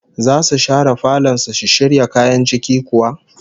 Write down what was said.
Zasu share falon su shisshirya kayan ciki kuwa?